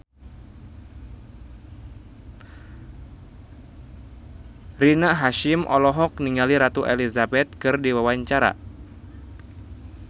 Rina Hasyim olohok ningali Ratu Elizabeth keur diwawancara